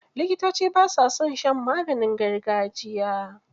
Likitoci ba sa son shan maganin gargajiya.